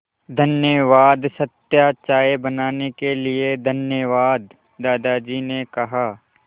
धन्यवाद सत्या चाय बनाने के लिए धन्यवाद दादाजी ने कहा